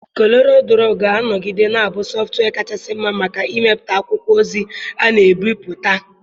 Koreelụdro ga-anọgide na-abụ sọftụwia kachasị mma maka ịmepụta akwụkwọ ozi a na-ebipụta.